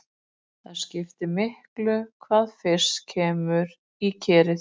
Það skiptir miklu hvað fyrst kemur í kerið.